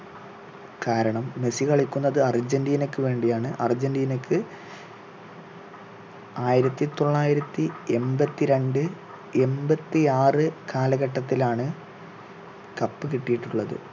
കാരണം മെസ്സി കളിക്കുന്നത് അർജന്റീനയ്ക്കു വേണ്ടിയാണ് അർജന്റീനയ്ക്ക് ആയിരത്തി തൊള്ളായിരത്തി എമ്പത്തി രണ്ടിൽ എമ്പത്തി ആറ് കാലഘട്ടത്തിലാണ് cup കിട്ടിയിട്ടുള്ളത്